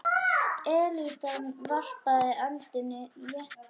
Elítan varpaði öndinni léttar.